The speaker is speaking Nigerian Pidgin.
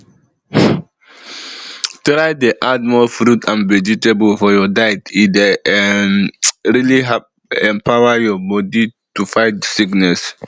try dey add more fruit and vegetable for your diet e dey um really empower your body to fight sickness